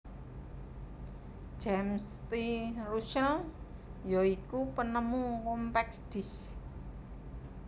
James T Russell ya iku penemu Compact Disc